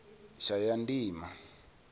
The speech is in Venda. shayandima